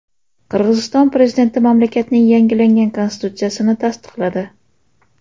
Qirg‘iziston prezidenti mamlakatning yangilangan konstitutsiyasini tasdiqladi.